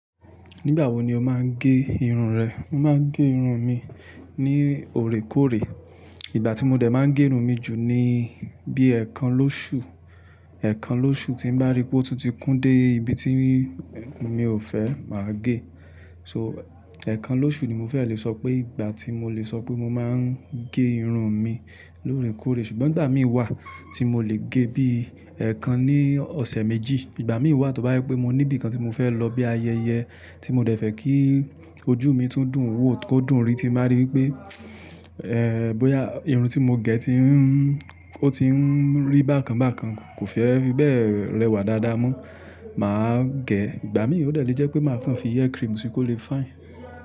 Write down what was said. Nígbà wo ni o máa ń gé irun rẹ? Mo máa ń gé irun mi ní òrékóré. Ìgbà tí mo dẹ̀ máa ń gé irun mi jù ni bí ẹ̀kan lóṣù. Ẹ̀kan lóṣù tí n bá rí pé ó tun ti kún dé ibi tí mi ò fẹ́, mà á gé. So ẹ̀kan lóṣù ni mo fẹ́ lè sọ pé ìgbà tí mo lè sọ pé mo máa ń gé irun mi lóòrèkóòrè. Ṣùgbọ́n ìgbà mí wá tí mo lè gé bíi ẹ̀kan ní ọ̀sẹ̀ méjì. Ìgbà mí wá tọ bá jepé mo níbi kan tí mo fẹ́ lọ bíi ayẹyẹ tí mo dẹ̀ fẹ́ kí ojú mi tún dùn wò kó dùn rí tí n bá rí wipé, ẹ́ẹ́ bóyá irun tí mo gẹ̀ ti ń ó ti ń rí bákan bakan kò fẹ́ bí bẹ́ẹ̀ rẹwà dáadáa mọ, mà á gẹ̀. Ìgbà mí ò dẹ̀ lé jẹ́ pé màá kan fi hair cream sí kó lè fine.